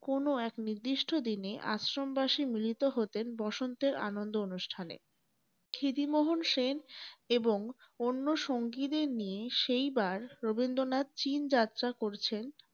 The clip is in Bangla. কোন এক নির্দিষ্ট দিনে আশ্রমবাসী মিলিত হতেন বসন্তের আনন্দ অনুষ্ঠানে । ক্ষিতিমোহন সেন এবং অন্য সঙ্গীদের নিয়ে সেইবার রবীন্দ্রনাথ চীন যাত্রা করছেন ।